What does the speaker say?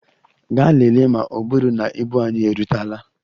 Gaa lelee ma ọ bụrụ na ibu anyị erutela!